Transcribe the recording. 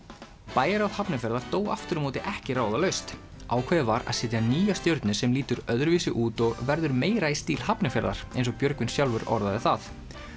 bæjarráð Hafnarfjarðar dó aftur á móti ekki ráðalaust ákveðið var að setja nýja stjörnu sem lítur öðruvísi út og verður meira í stíl Hafnarfjarðar eins og Björgvin sjálfur orðaði það